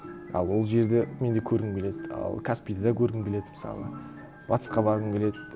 ал ол жерді мен де көргім келеді ал каспийді де көргім келеді мысалы батысқа барғым келеді